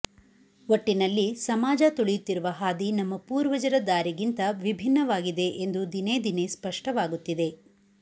ಒಟ್ಟಿನಲ್ಲಿ ಸಮಾಜ ತುಳಿಯುತ್ತಿರುವ ಹಾದಿ ನಮ್ಮ ಪೂರ್ವಜರ ದಾರಿಗಿಂತ ವಿಭಿನ್ನವಾಗಿದೆ ಎಂದು ದಿನೇ ದಿನೇ ಸ್ಪಷ್ಟವಾಗುತ್ತಿದೆ